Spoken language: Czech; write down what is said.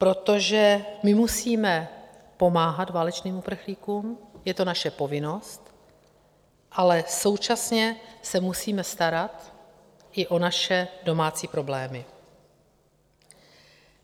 Protože my musíme pomáhat válečným uprchlíkům, je to naše povinnost, ale současně se musíme starat i o naše domácí problémy.